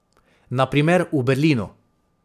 Na primer v Berlinu.